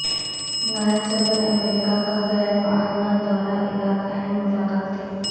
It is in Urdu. نائب صدر امریکہ کا غیر معلنہ دورہ عراق اہم ملاقاتیں